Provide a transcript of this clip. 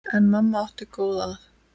En mamma átti góða að.